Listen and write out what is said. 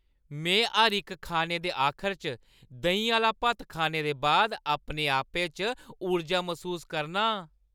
में हर इक खाने दे आखर च देहीं आह्‌ला भत्त खाने दे बाद अपने आपै च ऊर्जा मसूस करना आं।